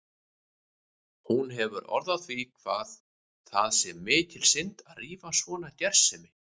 Hún hefur orð á því hvað það sé mikil synd að rífa svona gersemi.